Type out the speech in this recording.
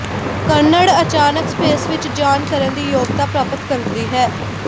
ਕੱਨੜ ਅਚਾਨਕ ਸਪੇਸ ਵਿੱਚ ਜਾਣ ਕਰਨ ਦੀ ਯੋਗਤਾ ਪ੍ਰਾਪਤ ਕਰਦੀ ਹੈ